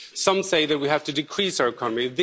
Some say that we have to decrease our economy.